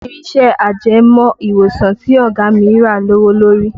Irin iṣẹ́ ajẹmọ́ ìwòsàn tí ọ̀gá mi rà lówó lórí